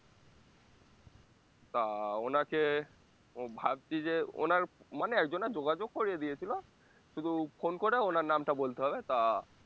তা ওনাকে উম ভাবছি যে ওনার মানে একজনে যোগাযোগ করিয়ে দিয়েছিলো শুধু phone করে ওনার নামটা বলতে হবে তা